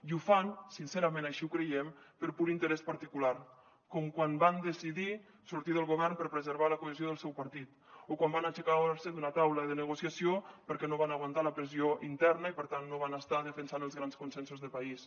i ho fan sincerament així ho creiem per pur interès particular com quan van decidir sortir del govern per preservar la cohesió del seu partit o quan van aixecar se d’una taula de negociació perquè no van aguantar la pressió interna i per tant no van estar defensant els grans consensos de país